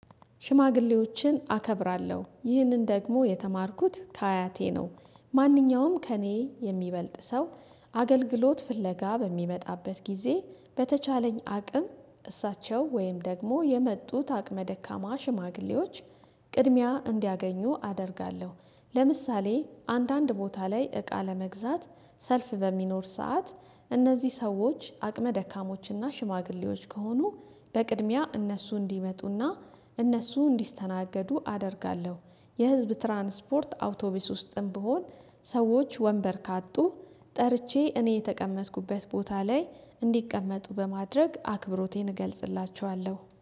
ሽማግሌዎችን አከብራለሁ ይህንን ደግሞ የተማርኩት ከአያቴ ነው ማንኛውም ከእኔ የሚበልጥ ሰው አገልግሎት ፍለጋ በሚመጣበት ጊዜ በተቻለኝ አቅም እሳቸው ወይም ደግሞ የመጡት አቅመ ደካማ ሽማግሌዎች ቅድሚያ እንዲያገኙ አደርጋለሁ። ለምሳሌ አንዳንድ ቦታ ላይ እቃ ለመግዛት ሰልፍ በሚኖር ሰዓት እነዚህ ሰዎች አቅመ ደካሞችና ሽማግሌዎች ከሆኑ በቅድሚያ እነሱ እንዲመጡና እነሱ እንዲስተናገዱ አደርጋለሁ። የህዝብ ትራንስፖርት አውቶቢስ ውስጥም ብሆን ሰዎች ወንበር ካጡ ጠርቼ እኔ የተቀመጥኩበት ቦታ ላይ እንዲቀመጡ በማድረግ አክብሮቴን እገልጽላቸዋለሁ